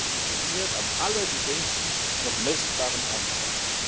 Der Anteil ist definiert nach dem allergeringsten noch messbaren Anteil.